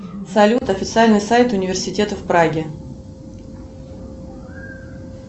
салют официальный сайт университета в праге